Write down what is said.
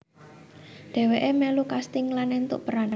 Dheweke melu casting lan entuk peran